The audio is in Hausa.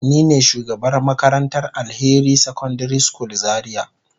Nine shugabar makarantar Alheri secondary school zaria.